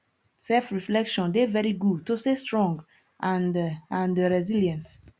self reflection dey very good to stay strong and and resilience